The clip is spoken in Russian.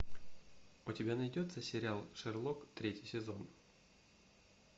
у тебя найдется сериал шерлок третий сезон